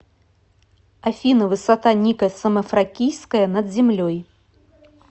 афина высота ника самофракийская над землей